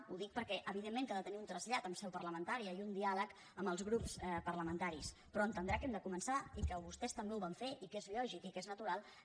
ho dic perquè evidentment que ha de tenir un trasllat en seu parlamentària i un diàleg amb els grups parlamentaris però entendrà que hem de començar i que vostès també ho van fer i que és lògic i que és natural